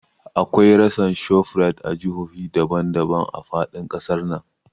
Akwai rassan Shoprite a jihohi daban daban a faɗin ƙasar nan